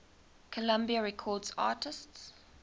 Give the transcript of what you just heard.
columbia records artists